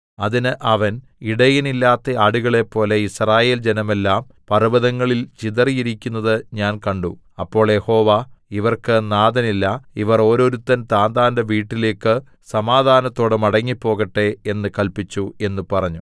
അതിന് അവൻ ഇടയനില്ലാത്ത ആടുകളെപ്പോലെ യിസ്രായേൽ ജനമെല്ലാം പർവ്വതങ്ങളിൽ ചിതറിയിരിക്കുന്നത് ഞാൻ കണ്ടു അപ്പോൾ യഹോവ ഇവർക്ക് നാഥനില്ല ഇവർ ഓരോരുത്തൻ താന്താന്റെ വീട്ടിലേക്കു സമാധാനത്തോടെ മടങ്ങിപ്പോകട്ടെ എന്നു കല്പിച്ചു എന്ന് പറഞ്ഞു